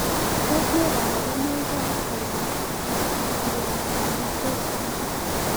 Tos ne kabarunoik ap kalaktosialitosis?